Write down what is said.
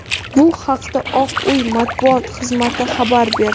Bu haqda Oq uy matbuot xizmati xabar berdi.